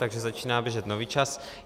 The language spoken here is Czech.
Takže začíná běžet nový čas.